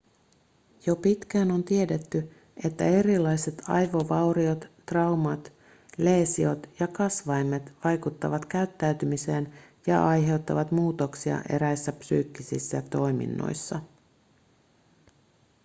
jo pitkään on tiedetty että erilaiset aivovauriot traumat leesiot ja kasvaimet vaikuttavat käyttäytymiseen ja aiheuttavat muutoksia eräissä psyykkisissä toiminnoissa